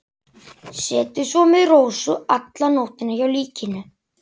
Setið svo með Rósu alla nóttina hjá líkinu.